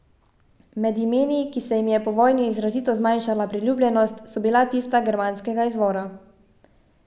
Med imeni, ki se jim je po vojni izrazito zmanjšala priljubljenost, so bila tista germanskega izvora.